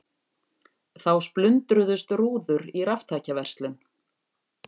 Þá splundruðust rúður í raftækjaverslun